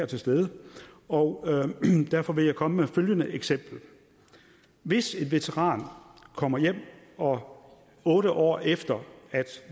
til stede her og derfor vil jeg komme med følgende eksempel hvis en veteran kommer hjem og otte år efter at